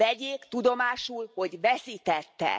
Vegyék tudomásul, hogy veszítettek!